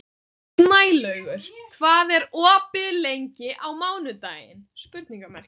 Snælaugur, hvað er opið lengi á mánudaginn?